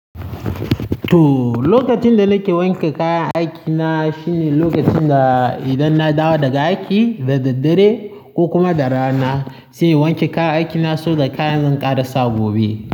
To, lokacin da nake wanke kayan aikina shine lokacin da idan na dawo daga aiki da daddare ko kuma da rana, sai in wanke kayan aikina saboda kayan zan ƙara sa gobe.